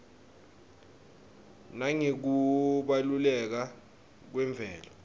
nangekubaluleka kwemvelo